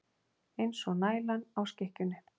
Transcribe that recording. Eins og nælan á skikkjunni.